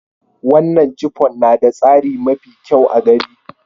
Wanan chiffon na da tsari mafi kyau a gari.